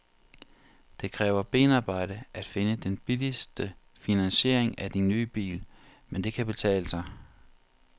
Det kræver benarbejde at finde den billigste finansiering af din nye bil, men det kan betale sig.